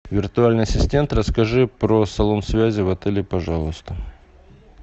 виртуальный ассистент расскажи про салон связи в отеле пожалуйста